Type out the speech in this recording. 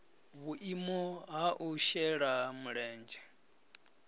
vhuimo ha u shela mulenzhe